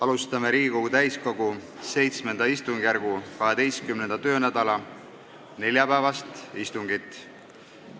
Alustame Riigikogu täiskogu VII istungjärgu 12. töönädala neljapäevast istungit.